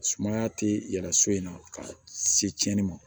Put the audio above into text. Sumaya tɛ yɛlɛ so in na ka se tiɲɛni ma